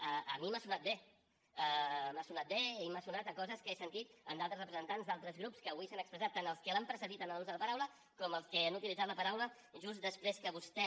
a mi m’ha sonat bé m’ha sonat bé i m’ha sonat a coses que he sentit a d’altres representants d’altres grups que avui s’han expressat tant els que l’han precedit en l’ús de la paraula com els que han utilitzat la paraula just després que vostè